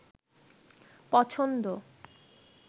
পছন্দ